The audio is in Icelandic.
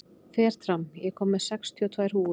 Fertram, ég kom með sextíu og tvær húfur!